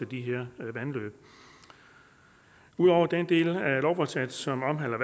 de her vandløb udover den del af lovforslaget som omhandler